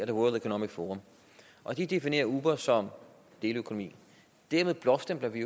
er world economic forum de definerer uber som deleøkonomi dermed blåstempler vi